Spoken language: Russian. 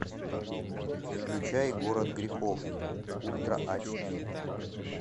включай город грехов ультра ач ди